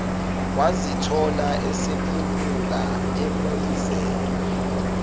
wazithola esephunyuka emoyizela